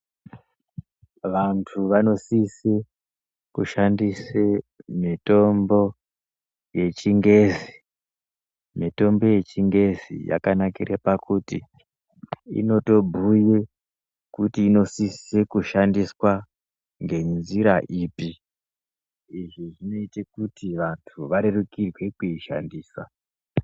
Vantu vanosise kushandise mitombo yechingezi. Mitombo yechingezi yakanakire pakuti inotobhuye kuti inosise kushandiswa ngenjira ipi. Izvi zvinoite kuti vantu varerukirwe kushandisa.